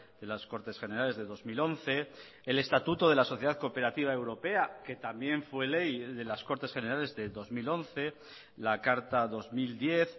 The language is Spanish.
de las cortes generales de dos mil once el estatuto de la sociedad cooperativa europea que también fue ley de las cortes generales de dos mil once la carta dos mil diez